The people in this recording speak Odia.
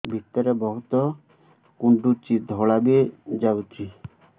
ଭିତରେ ବହୁତ କୁଣ୍ଡୁଚି ଧଳା ବି ଯାଉଛି